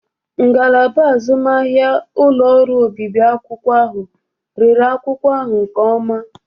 Ngalaba azụmahịa ụlọ ọrụ obibi akwụkwọ ahụ rere akwụkwọ ahụ nke ọma.